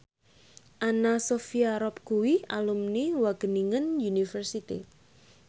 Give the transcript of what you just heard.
Anna Sophia Robb kuwi alumni Wageningen University